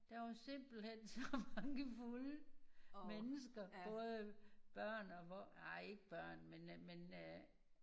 Der var simpelthen så mange fulde mennesker både børn og voksne ej ikke børn men øh men øh